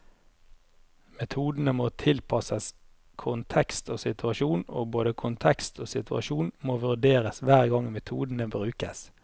Metodene må tilpasses kontekst og situasjon, og både kontekst og situasjon må vurderes hver gang metodene brukes.